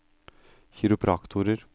kiropraktorer